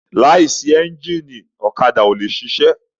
Láìsí ẹ́ńgìnì ọ̀kadà ò le ṣiṣẹ́.